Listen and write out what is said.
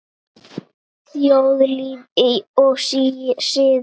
Þjóðlíf og siðir